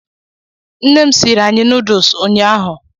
Nne m siiri anyị nuduls ụnyaahụ.